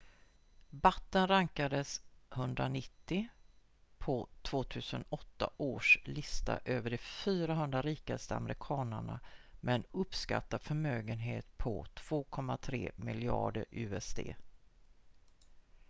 batten rankades 190 på 2008 års lista över de 400 rikaste amerikanerna med en uppskattad förmögenhet på 2,3 miljarder usd